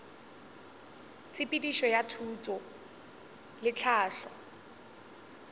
tshepedišo ya thuto le tlhahlo